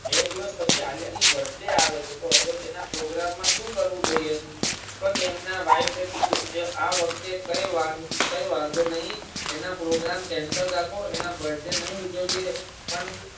બે દિવસ પછી આલ્યા ની birthday આવે છે તો હવે તેના program માં સુ કરવું જોઈએ તો તેમના wife ફે કીધું કે આવખતે કઈ કઈ વાંધો નહિ એના Program Cancel રાખો એના birthday નહિ ઉજવીયે પણ